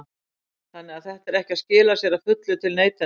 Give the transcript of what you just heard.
Þannig að þetta er ekki að skila sér að fullu til neytenda?